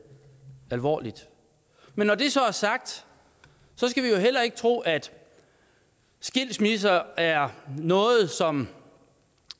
alvorligt men når det så er sagt skal vi jo heller ikke tro at skilsmisser er noget som